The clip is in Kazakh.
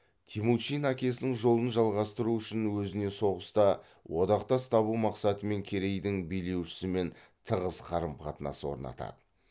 темучин әкесінің жолын жалғастыру үшін өзіне соғыста одақтас табу мақсатымен керейдің билеушісімен тығыз қарым қатынас орнатады